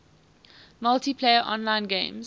multiplayer online games